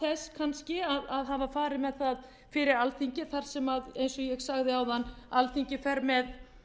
þess kannski að hafa farið með það fyrir alþingi þar sem ég eins og ég sagði áðan alþingi fer með